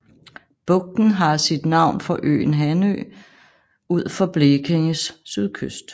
Bugten har sit navn fra øen Hanø ud for Blekinges sydkyst